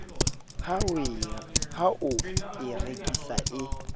ha o e rekisa e